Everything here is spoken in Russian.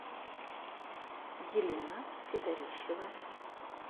елена федорищева